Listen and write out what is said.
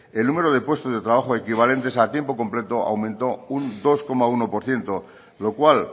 el número de puestos de trabajo equivalentes a tiempo completo aumentó un dos coma uno por ciento lo cual